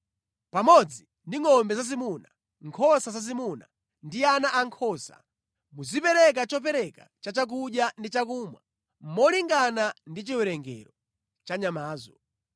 Pamodzi ndi ngʼombe zazimuna, nkhosa zazimuna ndi ana ankhosa, muzipereka chopereka cha chakudya ndi chakumwa molingana ndi chiwerengero cha nyamazo.